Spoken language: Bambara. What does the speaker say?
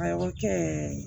A o kɛ